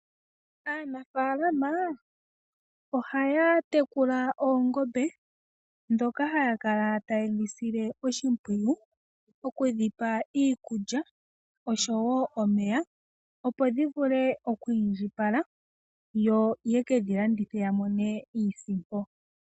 Aanafalama oha ya tekula oongombe nokudhisila oshipwiyu moku dhipa iikulya, oshowo omeya opo dhi vule okwindjipala ye dhi landithepo yiimonene iisimpo.